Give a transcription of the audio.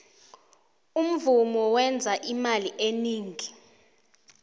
umvumo wenza imali eningi